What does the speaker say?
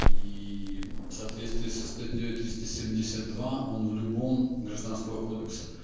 и в соответствии со статьёй триста семьдесят два он в любом гражданского кодекса